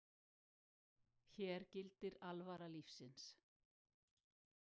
Hér gildir alvara lífsins